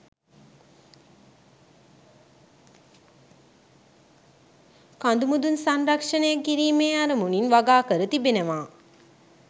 කඳුමුදුන් සංරක්ෂණය කිරීමේ අරමුණින් වගාකර තිබෙනවා